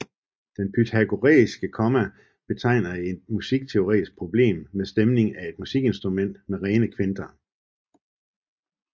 Det pythagoræiske komma betegner et musikteorisk problem ved stemning af et musikinstrument med rene kvinter